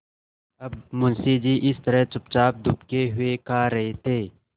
अब मुंशी जी इस तरह चुपचाप दुबके हुए खा रहे थे